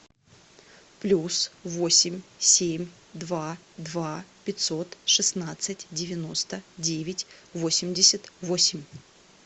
плюс восемь семь два два пятьсот шестнадцать девяносто девять восемьдесят восемь